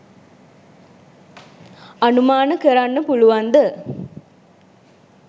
අනුමාන කරන්න පුලුවන්ද?